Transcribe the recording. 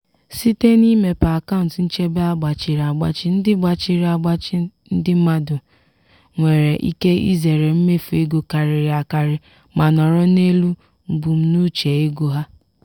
site n'imepe akaụntụ nchebe a gbachiri agbachi ndị gbachiri agbachi ndị mmadụ nwere ike izere mmefu ego karịrị akarị ma nọrọ n'elu mbunuche ego ha.